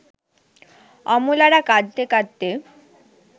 অমলারা কাঁদতে কাঁদতে